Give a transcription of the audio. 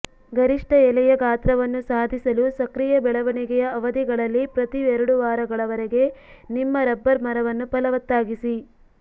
ಗರಿಷ್ಟ ಎಲೆಯ ಗಾತ್ರವನ್ನು ಸಾಧಿಸಲು ಸಕ್ರಿಯ ಬೆಳವಣಿಗೆಯ ಅವಧಿಗಳಲ್ಲಿ ಪ್ರತಿ ಎರಡು ವಾರಗಳವರೆಗೆ ನಿಮ್ಮ ರಬ್ಬರ್ ಮರವನ್ನು ಫಲವತ್ತಾಗಿಸಿ